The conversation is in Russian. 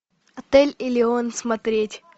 отель элеон смотреть